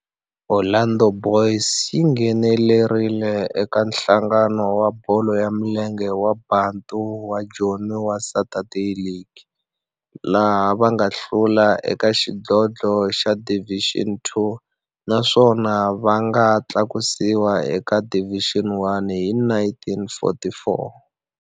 Orlando Boys yi nghenelerile eka Nhlangano wa Bolo ya Milenge wa Bantu wa Joni wa Saturday League, laha va nga hlula eka xidlodlo xa Division Two naswona va nga tlakusiwa eka Division One hi 1944.